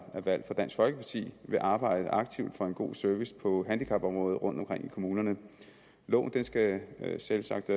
er valgt for dansk folkeparti vil arbejde aktivt for en god service på handicapområdet rundtomkring i kommunerne loven skal selvsagt